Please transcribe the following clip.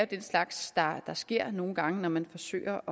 den slags der sker nogle gange når man forsøger